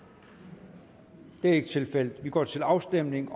det er ikke tilfældet vi går til afstemning